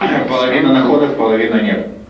ээ половина находов половина нет